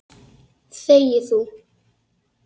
Þegi þú!